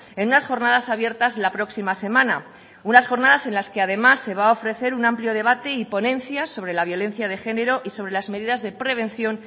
en unas jornadas abiertas la próxima semana unas jornadas en las que además se va a ofrecer un amplio debate y ponencia sobre la violencia de género y sobre las medidas de prevención